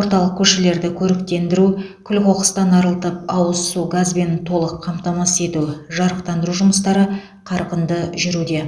орталық көшелерді көріктендіру күл қоқыстан арылтып ауыз су газбен толық қамтамасыз ету жарықтандыру жұмыстары қарқынды жүруде